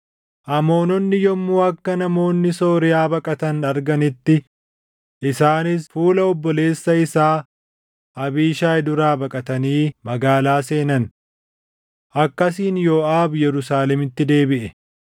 Amoononni yommuu akka namoonni Sooriyaa baqatan arganitti isaanis fuula obboleessa isaa Abiishaayi duraa baqatanii magaalaa seenan. Akkasiin Yooʼaab Yerusaalemitti deebiʼe.